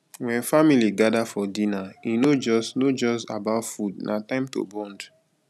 when family gather for dinner e no just no just about food na time to bond